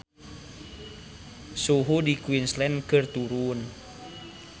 Suhu di Queensland keur turun